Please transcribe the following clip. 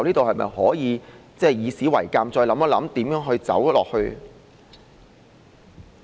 是否應該以史為鑒，再想想如何走下去？